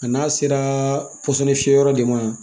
A n'a sera pɔsɔnni fiyɛyɔrɔ de ma